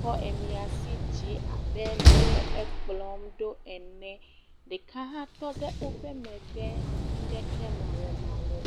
kɔ eƒe asi dzi abe ɖe wòle ekplɔm ene, ɖeka hã tɔ ɖe woƒe megbe nuɖeke mawɔmawɔ.